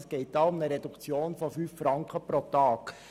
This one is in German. Es geht also um eine Reduktion um fünf Franken pro Tag.